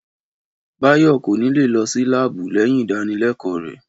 Báyọ̀ kò ní lè lọ sí láàbù lẹ́yìn ìdánilẹ́kọ̀ọ́ rẹ̀